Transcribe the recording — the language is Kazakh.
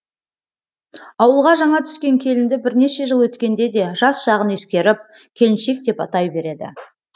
ауылға жаңа түскен келінді бірнеше жыл өткенде де жас жағын ескеріп келіншек деп атай береді